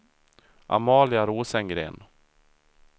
Amalia Rosengren